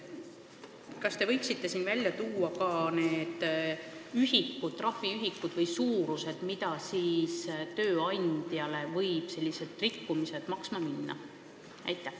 Kas te võite välja tuua ka need trahviühikud või -suurused, mida sellised rikkumised võivad tööandjale maksma minna?